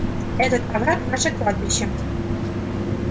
этот овраг наше кладбище